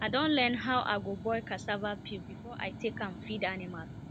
i don learn how i go boil cassava peel before i take am feed animal